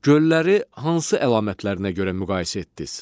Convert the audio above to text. Gölləri hansı əlamətlərinə görə müqayisə etdiniz?